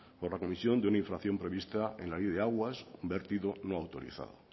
por la comisión de una infracción prevista en la vía de aguas vertido no autorizado